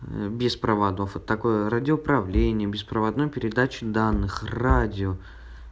без проводов от такой радиоуправление беспроводной передачи данных радио